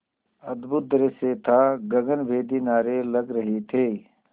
अद्भुत दृश्य था गगनभेदी नारे लग रहे थे